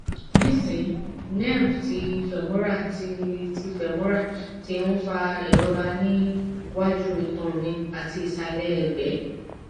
nisin nerve ti femoral ti ti femoral ti n fa irora ni waju itan mi ati isale egbe